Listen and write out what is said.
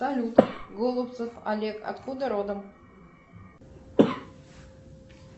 салют голубцев олег откуда родом